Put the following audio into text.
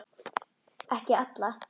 Ekki alla.